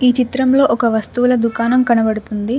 ఈ చిత్రంలో ఒక వస్తువుల దుకాణం కనబడుతుంది.